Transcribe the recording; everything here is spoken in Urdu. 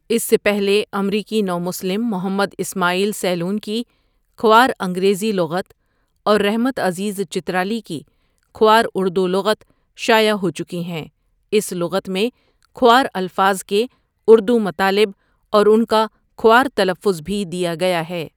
اس سے پہلے امریکی نومسلم محمد اسماعیل سیلون کی کھوار انگریزی لغت اور رحمت عزیز چترالی کی کھوار اردو لغت شایع ہوچکی ہیں اس لغت میں کھوار الفاظ کے اردو مطالب اور ان کا کھوار تلفظ بھی دیا گیا ہے ۔